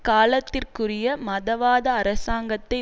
காலத்திற்குரிய மதவாத அரசாங்கத்தை